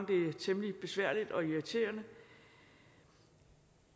det er temmelig besværligt og irriterende